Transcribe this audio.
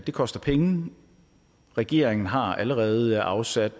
det koster penge regeringen har allerede afsat